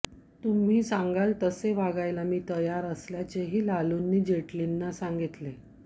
तुम्ही सांगाल तसे वागायला मी तयार असल्याचेही लालूंनी जेटलींना सांगितले